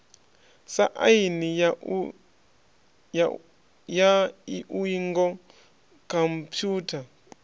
sa aini ya iuingo khomphutha